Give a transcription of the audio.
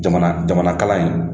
Jamana jamana kalan in